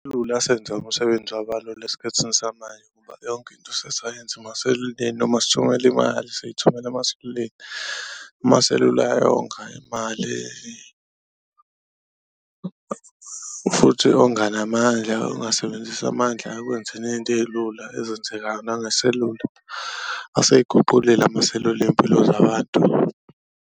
Asenze umsebenzi waba lula esikhathini samanje ngoba yonke into sesayenza emaseluleni noma sithumela imali siyithumela emaseluleni, amaselula ayayonga imali futhi onga namandla. Ungasebenzisi amandla ekwenzeni iy'nto ey'lula ezenzekayo nangeselula, aseyiguqulile amaselula iy'mpilo zabantu.